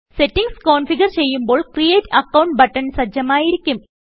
settings configure ചെയ്യുമ്പോൾ create account button സജ്ജമായിരിക്കും